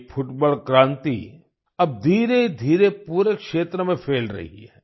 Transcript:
ये फुटबॉल क्रांति अब धीरे धीरे पूरे क्षेत्र में फैल रही है